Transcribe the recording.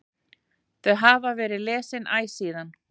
Þau hafa verið lesin æ síðan.